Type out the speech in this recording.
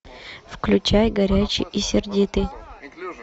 включай горячий и сердитый